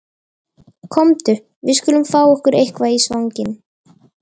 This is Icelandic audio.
Komdu, við skulum fá okkur eitthvað í svanginn